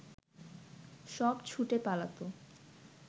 সব ছুটে পালাত